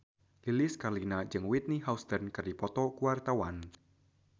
Lilis Karlina jeung Whitney Houston keur dipoto ku wartawan